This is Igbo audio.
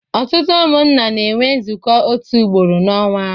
Ọtụtụ umụnna na enwe nzuko otu ugboro n'onwa